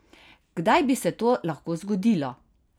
Kdaj bi se to lahko zgodilo?